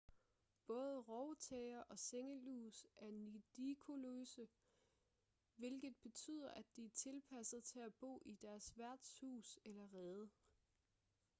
både rovtæger og sengelus er nidikoløse hvilket betyder at de er tilpasset til at bo i deres værts hus eller rede